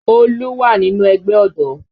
Olú wà nínú ẹgbẹ́ ọ̀dọ́